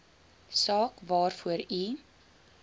saak waarvoor u